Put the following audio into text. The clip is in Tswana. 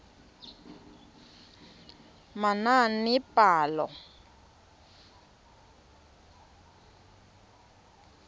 manaanepalo